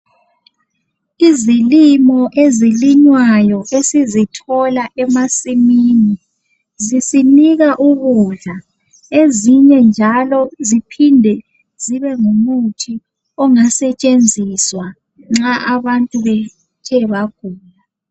Izilimo ezilinywayo esizithola emasimini zisinika ukudla ezinye njalo ziphinde zibe ngumuthi ongasetshenziswa nxa abantu bethe bagula.